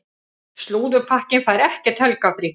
Slúðurpakkinn fær ekkert helgarfrí.